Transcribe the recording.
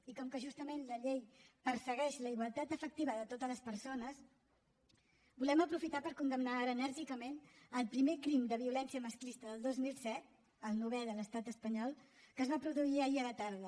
i com que justament la llei persegueix la igualtat efectiva de totes les persones volem aprofitar per condemnar ara enèrgicament el primer crim de violència masclista del dos mil disset el novè de l’estat espanyol que es va produir ahir a la tarda